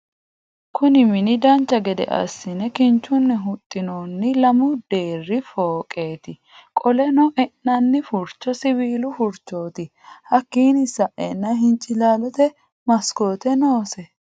Kunni minu dancha gedde assine kinchunni huxinoonni lamu deeri fooqeti qoleno e'nani furicho siwiilu furichoti hakiino sa'eena hincilaallote masikote noose.